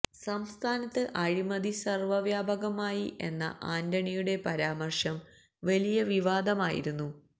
സംസ്ഥാനത്ത് അഴിമതി സര്വ്വ വ്യാപകമായി എന്ന ആന്റണിയുടെ പരാമര്ശം വലിയ വിവാദമായിരുന്നു